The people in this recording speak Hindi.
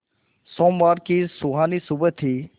सोमवार की सुहानी सुबह थी